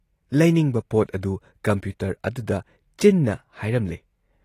ꯂꯩꯅꯤꯡꯕ ꯄꯣꯠ ꯑꯗꯨ ꯀꯝꯄ꯭ꯌꯨꯇꯔ ꯑꯗꯨꯗ ꯆꯤꯟꯅ ꯍꯥꯏꯔꯝꯂꯦ ꯫